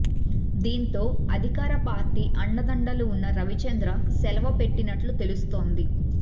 దీంతో అధికార పార్టీ అండదండలు ఉన్న రవిచంద్ర సెలవు పెట్టినట్లు తెలుస్తోంది